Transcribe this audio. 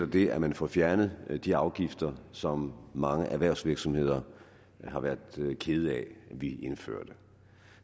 det at man får fjernet de afgifter som mange erhvervsvirksomheder har været kede af at vi indførte